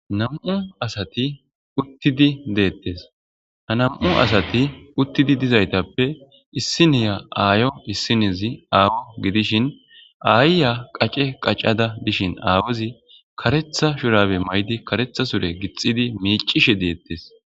Nam7u asati utidi detes ha nam7u asati utidi dizayitappe isiniya aayo isinozi awa gidishin aayiya qace qacada de7ishin aawayi karetha shurabe mayidi karetha sure gixidi miicishe deetes